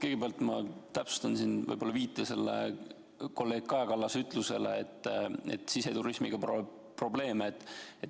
Kõigepealt ma täpsustan viidet kolleeg Kaja Kallase ütlusele, et siseturismiga probleeme.